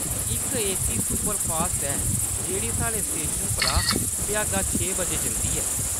इक AC superfast ऐ जेह्‌ड़ी साढ़े स्टेशन परा भ्यागा छे बजे चलदी ऐ।